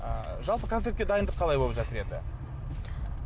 ы жалпы концертке дайындық қалай болып жатыр енді